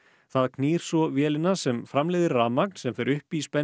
það knýr svo vélina sem framleiðir rafmagn sem fer upp í